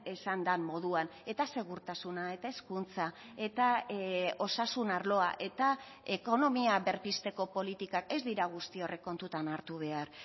esan den moduan eta segurtasuna eta hezkuntza eta osasun arloa eta ekonomia berpizteko politikak ez dira guzti horrek kontutan hartu behar